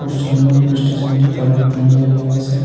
খুব সুন্দর police station -টি তার ওপর টুনি লাইট লেগে আছে ।